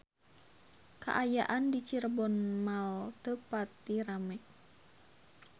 Kaayaan di Cirebon Mall teu pati rame